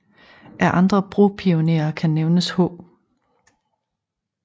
Af andre bropionerer kan nævnes H